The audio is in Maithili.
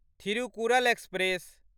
थिरुकुरल एक्सप्रेस